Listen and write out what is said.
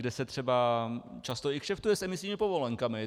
Kde se třeba často i kšeftuje s imisními povolenkami.